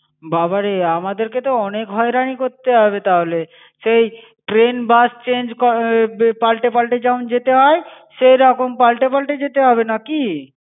বাবারে আমাদেরকে তো অনেক হয়রানি করতে হবে তাহলে। সেই train bus change ক~বে পালটে পালটে যেমন যেতে হয়, সেরকম পালটে পালটে যেতে হবে নাকি?